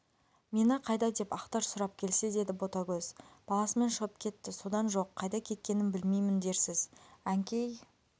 мені қайда деп ақтар сұрап келсе деді ботагөз баласымен шығып кетті содан жоқ қайда кеткенін білмеймін дерсіз әнкей